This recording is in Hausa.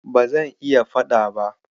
Ba zan iya faɗa ba.